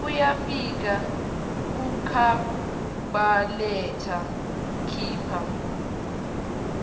uyafika kukhabhaletha khipha